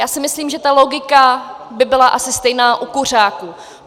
Já si myslím, že ta logika by byla asi stejná u kuřáků.